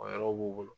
O yɔrɔ b'u bolo